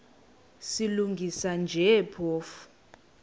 silungisa nje phofu